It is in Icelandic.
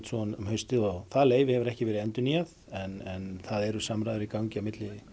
um haustið og það leyfi hefur ekki verið endurnýjað en það eru samræður í gangi á milli